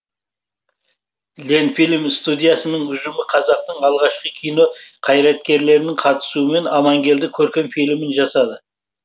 ленфильм студиясының ұжымы қазақтың алғашқы кино қайраткерлерінің қатысуымен амангелді көркем фильмін жасады